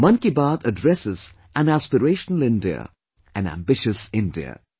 Mann Ki Baat addresses an aspirational India, an ambitious India